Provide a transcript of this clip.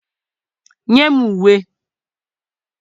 Nye m uwe!